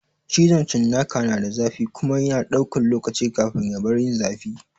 Cizon cinnaka na da zafi kuma yana ɗaukan lokaci kafin ya bar yin zafi.